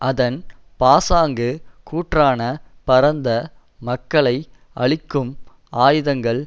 அதன் பாசாங்குக் கூற்றான பரந்த மக்களை அழிக்கும் ஆயுதங்கள்